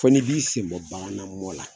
Fo ni b'i sen bɔ banamɔn la.